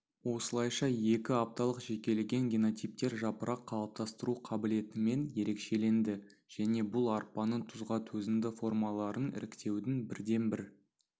осылайша екі апталық жекелеген генотиптер жапырақ қалыптастыру қабілетімен ерекшеленді және бұл арпаның тұзға төзімді формаларын іріктеудің бірден-бір